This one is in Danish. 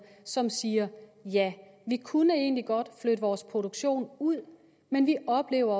som faktisk siger ja vi kunne egentlig godt flytte vores produktion ud men vi oplever